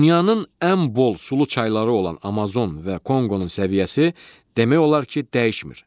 Dünyanın ən bol sulu çayları olan Amazon və Konqonun səviyyəsi demək olar ki, dəyişmir.